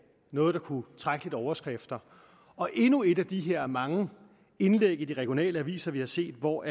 noget der kunne trække lidt overskrifter og endnu et af de her mange indlæg i de regionale aviser vi har set hvor